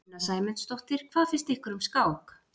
Sunna Sæmundsdóttir: Hvað finnst ykkur um skák?